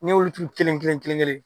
Ne y'olu turu kelen kelen kelen kelen